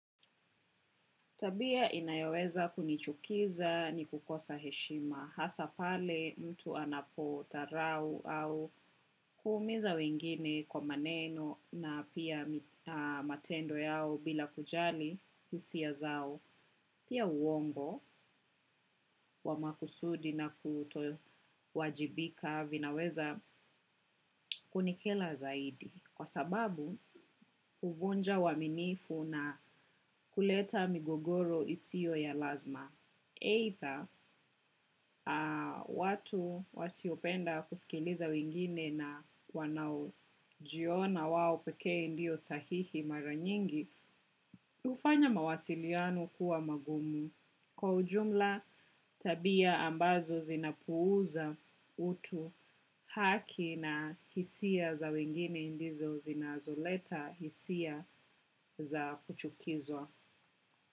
Tabia inayoweza kunichukiza ni kukosa heshima hasa pale mtu anapo dharau au kuumiza wengine kwa maneno na pia matendo yao bila kujali hisia zao. Pia uongo wa makusudi na kutowajibika vinaweza kunikera zaidi kwa sababu huvunja uaminifu na kuleta migogoro isiyo ya lazima. Eidha, watu wasiopenda kusikiliza wengine na wanaujiona wao pekee ndio sahihi mara nyingi, hufanya mawasiliano kuwa magumu. Kwa ujumla, tabia ambazo zinapuuza utu haki na hisia za wengine ndizo zinazoleta hisia za kuchukizwa.